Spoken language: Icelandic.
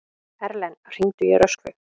Erlen, hringdu í Röskvu.